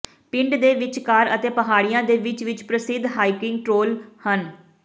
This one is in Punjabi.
ਪਿੰਡਾਂ ਦੇ ਵਿਚਕਾਰ ਅਤੇ ਪਹਾੜੀਆਂ ਦੇ ਵਿੱਚ ਵਿੱਚ ਪ੍ਰਸਿੱਧ ਹਾਈਕਿੰਗ ਟ੍ਰੇਲ ਹਨ